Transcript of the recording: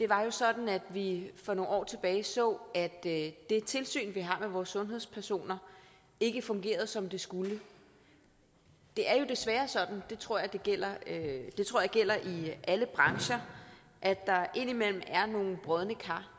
var jo sådan at vi for nogle år tilbage så at det tilsyn vi har med vores sundhedspersoner ikke fungerede som det skulle det er jo desværre sådan og det tror jeg gælder i alle brancher at der indimellem er nogle brodne kar